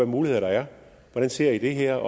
muligheder der er hvordan ser i det her